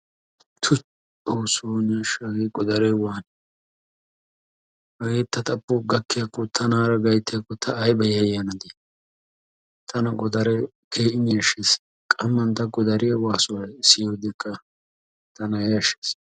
Tuykki! Xoosso ne asha hagee godaare waani? Hagee ta xapho gakkiyakko tana gayttiyakko ta ayba yayiyanaa. Tana godaare keehin yashees. Qamman ta godaariya waasuwa siyiyodkka tana yashes.